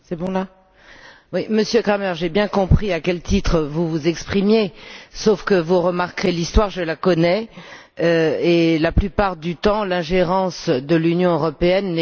Monsieur Cramer, j'ai bien compris à quel titre vous vous exprimiez, sauf que vous remarquerez que l'histoire, je la connais, et que la plupart du temps l'ingérence de l'Union européenne n'est jamais à bon escient.